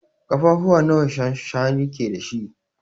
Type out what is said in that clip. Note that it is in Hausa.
Kafafuwa nawa shanshani ke da shi?